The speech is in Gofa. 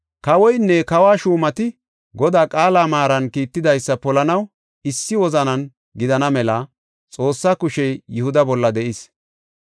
Kawoynne kawa shuumati Godaa qaala maaran kiittidaysa polanaw issi wozanan gidana mela Xoossa kushey Yihuda bolla de7ees.